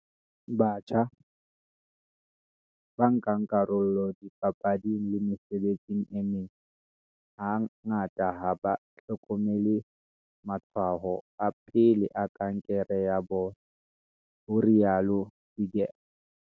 "Batjha, ba nkang karolo dipapading le mesebetsing e meng, ha ngata ha ba hlokomele matshwao a pele a kankere ya bona," ho rialo Seegers.